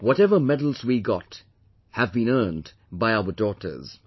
Whatever medals we got have been earned by our daughters